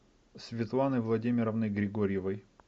светланой владимировной григорьевой